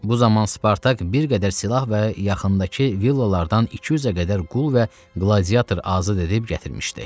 Bu zaman Spartak bir qədər silah və yaxındakı villalardan 200-ə qədər qul və qladiator azad edib gətirmişdi.